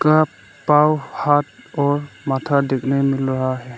का पांव हाथ और माथा देखने मिल रहा है।